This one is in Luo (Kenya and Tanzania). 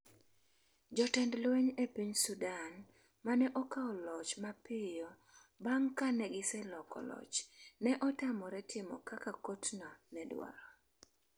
jotend lweny e piny Sudan ma ne okawo loch mapiyo bang’ ka ne giseloko loch, ne otamore timo kaka kotno ne dwaro.